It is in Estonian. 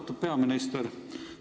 Austatud peaminister!